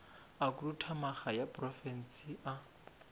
a khuduthamaga ya profense a